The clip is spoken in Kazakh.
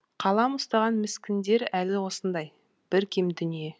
қалам ұстаған міскіндер әлі осындай бір кем дүние